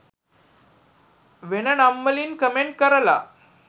වෙන නම් වලින් කමෙන්ට් කරලා